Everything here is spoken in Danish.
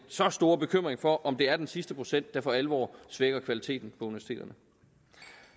så stor bekymring for om det er den sidste procent der for alvor svækker kvaliteten universiteterne